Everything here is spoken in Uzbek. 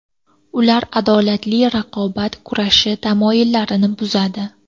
Ular adolatli raqobat kurashi tamoyillarini buzadi.